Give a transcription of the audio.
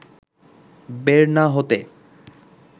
বের না হতে